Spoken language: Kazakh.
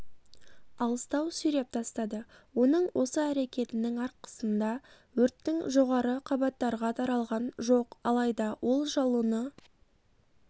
алыстау сүйреп тастады оның осы әрекетінің арқысында өрттің жоғары қабаттарға таралған жоқ алайда от жалыны